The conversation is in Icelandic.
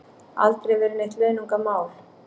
Aldrei verið neitt launungarmál